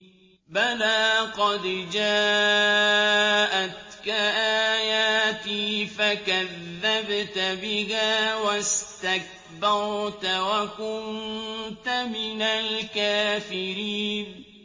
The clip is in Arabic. بَلَىٰ قَدْ جَاءَتْكَ آيَاتِي فَكَذَّبْتَ بِهَا وَاسْتَكْبَرْتَ وَكُنتَ مِنَ الْكَافِرِينَ